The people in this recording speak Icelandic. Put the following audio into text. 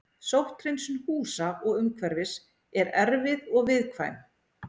Sótthreinsun húsa og umhverfis er erfið og viðkvæm.